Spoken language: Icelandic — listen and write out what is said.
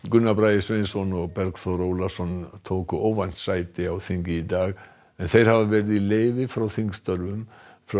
Gunnar Bragi Sveinsson og Bergþór Ólason tóku óvænt sæti á þingi í dag en þeir hafa verið í leyfi frá þingstörfum